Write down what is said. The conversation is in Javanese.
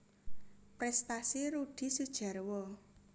Prestasi Rudi Sudjarwo